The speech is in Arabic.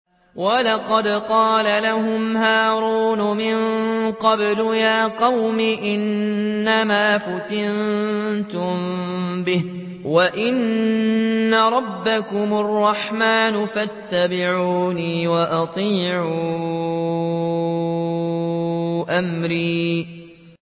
وَلَقَدْ قَالَ لَهُمْ هَارُونُ مِن قَبْلُ يَا قَوْمِ إِنَّمَا فُتِنتُم بِهِ ۖ وَإِنَّ رَبَّكُمُ الرَّحْمَٰنُ فَاتَّبِعُونِي وَأَطِيعُوا أَمْرِي